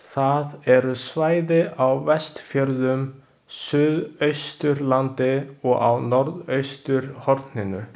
Það eru svæði á Vestfjörðum, Suðausturlandi og á norðausturhorninu.